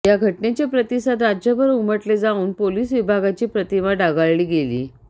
या घटनेचे प्रतिसाद राज्यभर उमटले जाऊन पोलीस विभागाची प्रतिमा डागाळली गेली